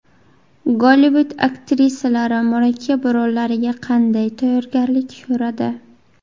Gollivud aktrisalari murakkab rollariga qanday tayyorgarlik ko‘radi?